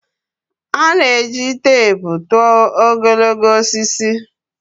A na-eji teepu tụọ ogologo osisi